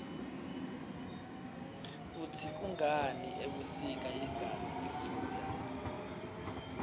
kutsi kungani ebusika ingani imvula